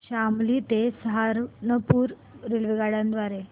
शामली ते सहारनपुर रेल्वेगाड्यां द्वारे